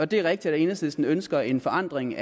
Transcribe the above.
det er rigtigt at enhedslisten ønsker en forandring